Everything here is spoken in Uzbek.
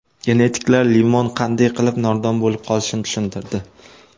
Genetiklar limon qanday qilib nordon bo‘lib qolishini tushuntirdi.